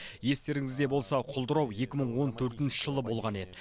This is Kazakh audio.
естеріңізде болса құлдырау екі мың он төртінші жылы болған еді